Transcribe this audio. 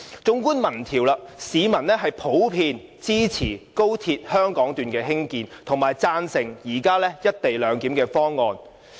縱觀民調結果，市民普遍支持高鐵香港段的興建，並贊成現時"一地兩檢"的方案。